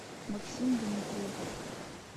максим дмитриев